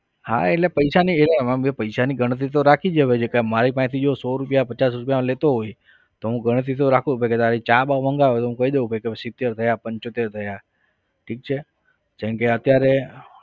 હા એટલે પૈસાની મેં પૈસાની ગણતરી તો રાખવી મારી પાસેથી જો સો રૂપિયા પચાસ રૂપિયા લેતો હોય તો હું ગણતરી તો રાખુ કે ભાઈ ચા-બા મંગાવે તો હું કહું દઉં કે ભાઈ ચાલો સીતેર થયા પંચોતેર થયા ઠીક છે જેમ કે અત્યારે